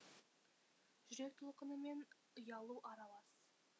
жүрек толқыны мен ұялу аралас